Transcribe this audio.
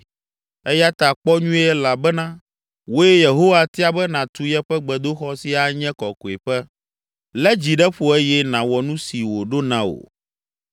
Eya ta, kpɔ nyuie elabena wòe Yehowa tia be nàtu yeƒe gbedoxɔ si anye kɔkɔeƒe. Lé dzi ɖe ƒo eye nàwɔ nu si wòɖo na wò.”